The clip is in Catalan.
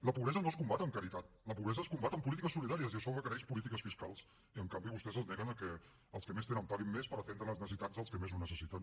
la pobresa no es combat amb caritat la pobresa es combat amb polítiques solidàries i això requereix polítiques fiscals i en canvi vostès es neguen a que els que més tenen paguin més per atendre les necessitats dels que més ho necessiten